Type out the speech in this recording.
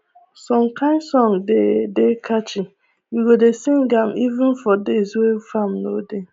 some kain song dey dey catchy we go dey sing am even for days wey farm no dey